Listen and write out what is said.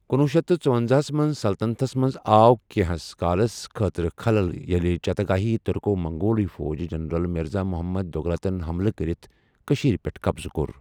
کنۄہ شیتھ تہٕ ژُۄنزہَس منٛز، سلطنتس منٛز آو کینٛہہ ہس کالس خٲطرٕ خلل ییٚلہِ چاگاتایی ترکو منگول فوجی جنرل مرزا محمد دوغلاتن حملہ کرِتھ کشیرِ پٮ۪ٹھ قبضہٕ کوٚر۔